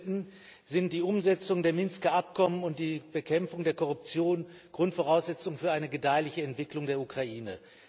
Unbestritten sind die Umsetzung der Minsker Abkommen und die Bekämpfung der Korruption Grundvoraussetzung für eine gedeihliche Entwicklung der Ukraine.